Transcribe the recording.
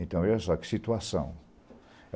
Então, olha só que situação.